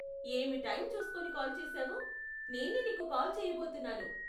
ఏమి టైం చూస్కొని కాల్ చేసావు, నేనే నీకు కాల్ చేయబోతున్నాను.